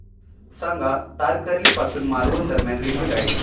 सांगा तारकर्ली पासून मालवण दरम्यान रेल्वेगाडी